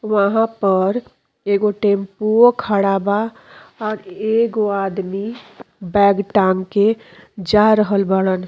वहाँ पर एगो टैम्पूवो खड़ा बा और एगो आदमी बैग टांग के जा रहल बाड़न।